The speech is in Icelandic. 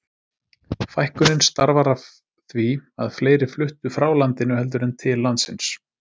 Fækkunin starfar af því að fleiri fluttu frá landinu heldur en til landsins.